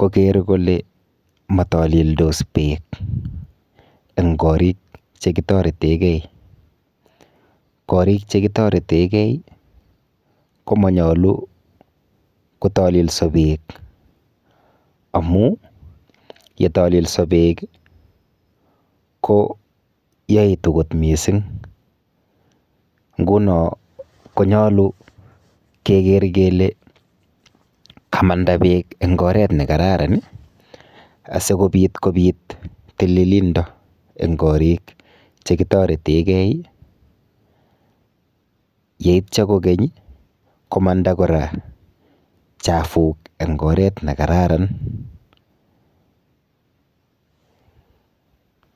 koger kole matalildos beek en korik chekitoretegei. Korik chekitoreteigei komanyalu kotalilso beek amu yetalso beek koyaitu kot mising. Nguno konyalu keger kele kanda beek eng oret ne kararan asigopit kopit tililindo en korik chekitoretegei yeitwa kogeny komanda kora chafuk eng oret nekararan.